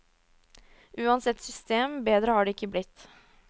Uansett system, bedre har det ikke blitt.